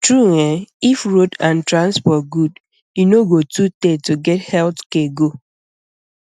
true eh if road and transport good e no go too tey to get health care go